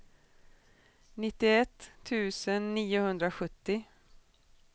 nittioett tusen niohundrasjuttio